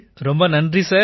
ரொம்ப நன்றி சார்